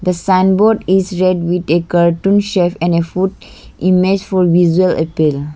a signboard is red with a cartoon chef and a food image for visual appeal.